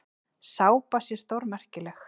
Sápa sé stórmerkileg.